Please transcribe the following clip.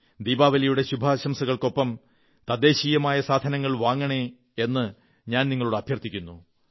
ദീപാവലിയുടെ ശുഭാശംസകൾക്കൊപ്പം തദ്ദേശീയമായ സാധനങ്ങൾ വാങ്ങണേ എന്നു ഞാൻ നിങ്ങളോടഭ്യർതിക്കുന്നു